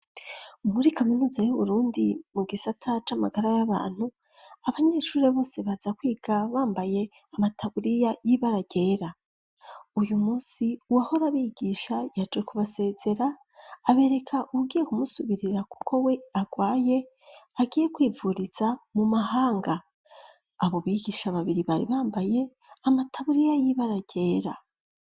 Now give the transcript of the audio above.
Muri kaminuza yu burundi mu gisata c'amagara y'abantu abanyeshuri bose baza kwiga bambaye amataburiya y'ibara ryera. Uyu munsi wahora bigisha yaje kubasezera abereka ugiye kumusubirira kuko we agwaye agiye kwivuriza mu mahanga abo bigisha babiri bari bambaye amataburiya y'ibara ryera.